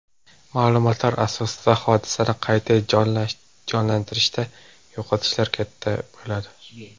Ma’lumotlar asosida hodisani qayta jonlantirishda yo‘qotishlar katta bo‘ladi.